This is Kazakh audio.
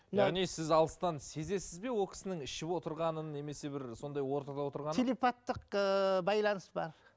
яғни сіз алыстан сезесіз бе ол кісінің ішіп отырғанын немесе бір сондай ортада отырғанын телепаттық ыыы байланыс бар